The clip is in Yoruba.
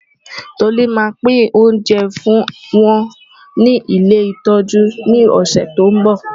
Tolú máa pín oúnjẹ fún wọn ní ilé ìtọ́jú ní ọ̀sẹ̀ tó ń bọ̀.